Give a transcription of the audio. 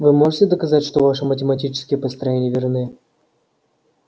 вы можете доказать что ваши математические построения верны